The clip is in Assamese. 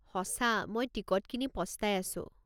সঁচা, মই টিকট কিনি পস্তাই আছো।